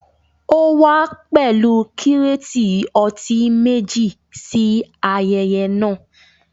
Ó wá pẹ̀lú kírátì ọtí meji ṣí ayẹyẹ náà